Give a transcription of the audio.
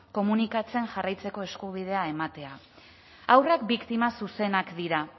komunikatzen jarraitzeko eskubidea ematea haurrak biktima zuzenak dira